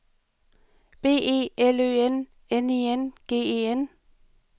B E L Ø N N I N G E N